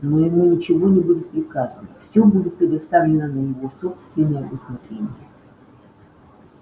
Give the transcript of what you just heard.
но ему ничего не будет приказано всё будет предоставлено на его собственное усмотрение